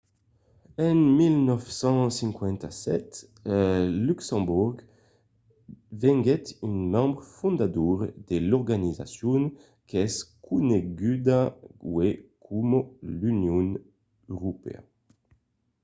en 1957 luxemborg venguèt un membre fondador de l'organizacion qu'es coneguda uèi coma l'union europèa